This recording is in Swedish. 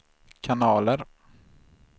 kanaler